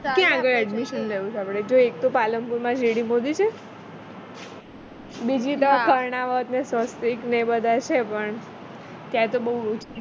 ક્યાં આગળ admission લેવું છે આપણે જો એક તો પાલનપુરમાં GD મોદી છે બીજી તો કર્ણાવત ને સ્વસ્તિક ને એ બધા છે પણ ત્યાં તો